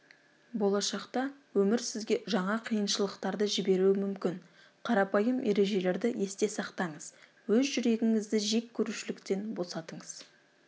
болашақта өмір сізге жаңа қиыншылықтарды жіберуі мүмкін қарапайым ережелерді есте сақтаңыз өз жүрегіңізді жек көрушіліктен босатыңыз